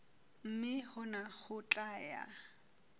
mme hona ho tla ya